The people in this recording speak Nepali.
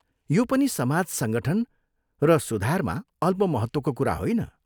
यो पनि समाज संगठन र सुधारमा अल्प महत्त्वको कुरा होइन।